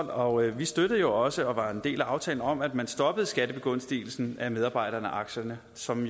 og vi støttede også og var en del af aftalen om at man stoppede skattebegunstigelsen af medarbejderaktierne som